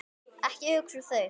Ekki hugsa um þau!